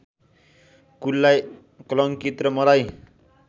कुललाई कलंकित र मलाई